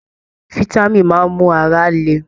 Fitami máa n mú ara lè.